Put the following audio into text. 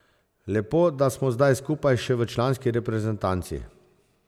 Lepo, da smo zdaj skupaj še v članski reprezentanci.